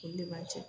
Olu de b'an cɛ